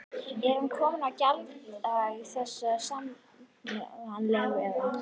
Er hann kominn á gjalddaga þessi samningur eða?